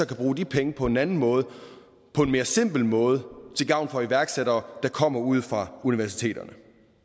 kan bruge de penge på en anden måde på en mere simpel måde til gavn for iværksættere der kommer ude fra universiteterne